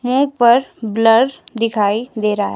मुंह पर ब्लर दिखाई दे रहा है।